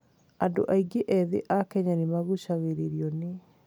Andũ aingĩ ethĩ a Kenya nĩ magucagĩrĩrio nĩ